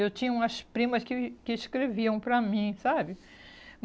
Eu tinha umas primas que que escreviam para mim, sabe?